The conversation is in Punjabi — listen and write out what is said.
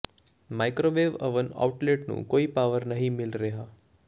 ਮਾਈਕ੍ਰੋਵੇਵ ਓਵਨ ਆਊਟਲੇਟ ਨੂੰ ਕੋਈ ਪਾਵਰ ਨਹੀਂ ਮਿਲ ਰਿਹਾ